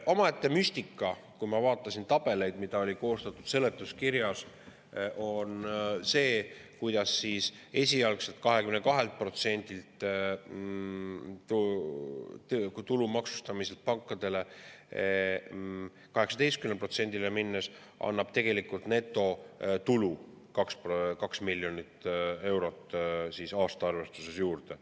Omaette müstika, kui ma vaatasin tabeleid, mis olid koostatud seletuskirjas, on see, kuidas siis esialgselt 22%‑lt pankade tulu maksustamiselt 18%‑le üle minemine annab tegelikult aasta arvestuses 2 miljonit eurot netotulu juurde.